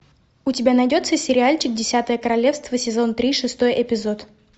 у тебя найдется сериальчик десятое королевство сезон три шестой эпизод